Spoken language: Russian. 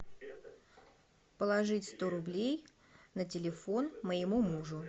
положить сто рублей на телефон моему мужу